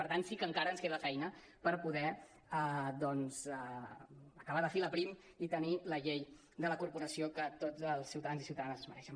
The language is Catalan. per tant sí que encara ens queda feina per poder doncs acabar de filar prim i tenir la llei de la corporació que tots els ciutadans i ciutadanes es mereixen